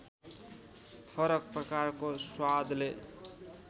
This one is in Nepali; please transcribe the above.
फरक प्रकारको स्वादले